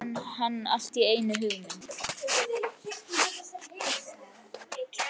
Svo fær hann allt í einu hugmynd.